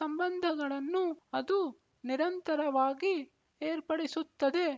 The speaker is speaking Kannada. ಸಂಬಂಧಗಳನ್ನೂ ಅದು ನಿರಂತರವಾಗಿ ಏರ್ಪಡಿಸುತ್ತದೆ